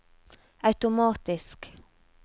automatisk